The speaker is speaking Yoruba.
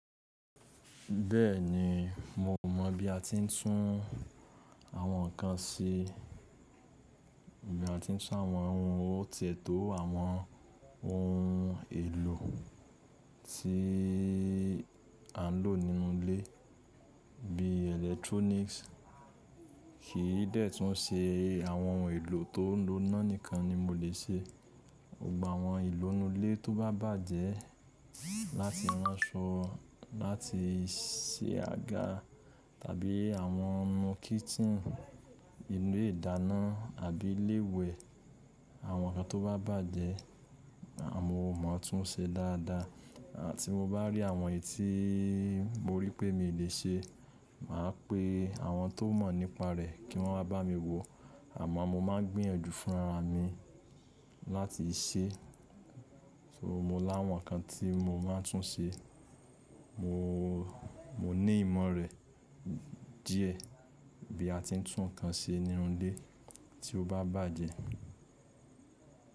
Bẹ́ẹ̀ni, mo mọ̀ bí a ti ń tún àwọn nǹkan ṣe, bí a ti ń tún àwọn ohun tó ti ètò àwọn ohun èlò tí à ń lò nínú ilé bí electronics. Kìí dẹ́tún ṣe àwọn ohun èlò tó ń lò ina nìkan ni mo lè ṣe. Gbogbo àwọn ohun elo inú ilé tó bá bàjẹ́ láti ránṣọ láti ṣe àga tàbí àwọn ohun kitchen inú ìdáná àbí ilé iwẹ, àwọn nǹkan tó bá bàjẹ́, mo mọ̀ tún ṣe dáadáa. Tí mo bá rí àwọn èyí tí mo rí pé mi lè ṣe, màá pe àwọn tó mọ̀ nípa rẹ̀ kí wọ́n wá bá mi wo àmọ́ mo máa ń gbìyànjú fúnra mi láti ṣe. So mo láwọn nǹkan tí mo máa ń tún ṣe. Mo ní ìmọ̀ rẹ̀ díẹ̀ bí a ti ń tún nǹkan ṣe nínú ilé tí ó bá bàjẹ́.